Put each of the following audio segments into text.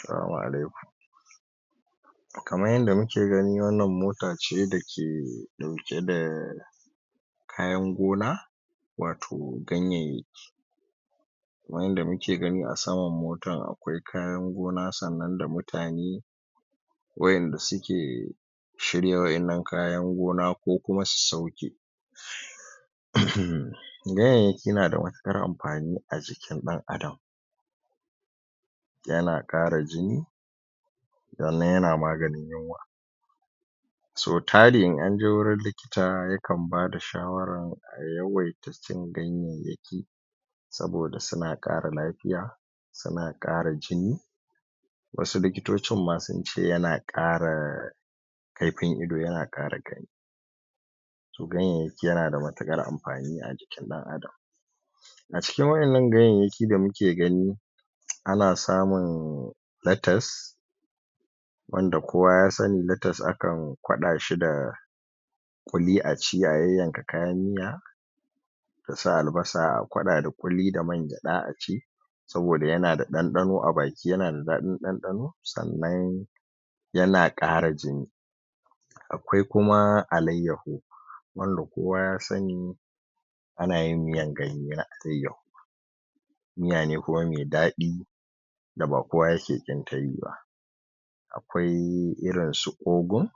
Salamu a laikum kaman yadda muke gani wan nan mota ce da ke dauke da kayan gona wato ganyaiyaki wanda mu ke gani a saman motan akwai kayan gona san nan da mutane wayan da suke shirya wayan nan kayan gona ko kuma su sauke ganyaiyaki na da matukan anfani a jikin dan adam yana kara jini wan nan yana maganin yunwa so tari in an je wajen likita yakan bada shawara a yawaita cin gaiyaiyaki sabo da suna kara lafia suna kara jini wasu likitocin ma sun ce ya na kara kaifin ido, yana kara karfi to gaiyayyaki yana da matukan anfani a jikin dan adam a cikin wayan nan gaiyayyaki da muke gani a na samun latas wanda kowa ya sani latas ana akan kwadashi da kwuli a ci a yanyanka kayan miya a sa albasa a kwada da kwuli da man kyada a ci sabo da yana da, dandano a baki, yanada dadin dandano, san nan yana kara jini akwai ku ma alaiyaho Malla kowa ya sani ana yin miyan ganye da alaiyaho miya ne kuma mai dadi da ba kowa yake kin tayi ba akwai irin su ogun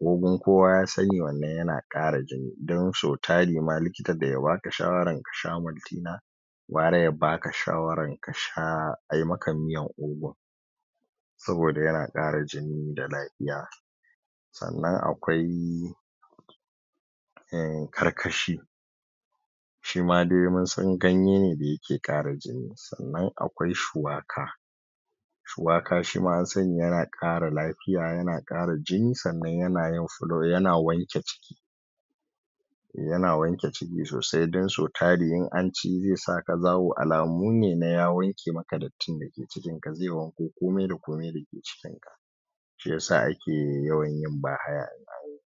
ogun kowa ya sani wannan yana kara jini dan so tari ma likita da ya baka shawaran ka sha moltina kwara ya baka shawaran kasha ayimaka miyan ogun saboda ya na kara jini da lafia san nan akwai karkashi shima dai munsan ganye ne da yake kara jini san nan akwai shuwaka shuwaka shima an sani yana kara lafiya yana kara jini, san nan yana yin fulo yana wanke ciki yana wanke ciki sosai, don so tari dan so tari in anci zai saka zaho, alamu ne na ya wanke maka dattin da ke cikin cikin ka, zai wanko komai da komai dake cikinka shi isa ake yawan yin ba haya in an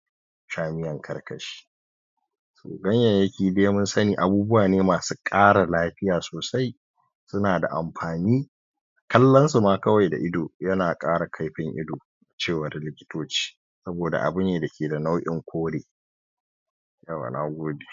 sha miyan karkashi ganyayyaki dai mun sani abubuwane, masu kara lafiya sosai suna da anfani kallon su ma kawai da ido, yana kara kaifin ido cewar likitoci saboda abu ne da ke da nau'in kore yauwa na gode